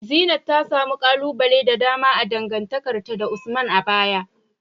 Zeenat ta samu kalubale da dama a dangantakarta da Usman a baya.